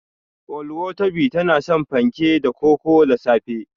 Oluwatobi tana son fanke da koko da safe.